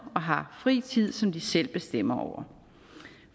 og har fri tid som de selv bestemmer over